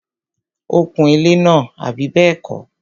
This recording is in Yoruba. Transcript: ó kun ilẹ́ náà, àbí bẹ́ẹ̀kọ́?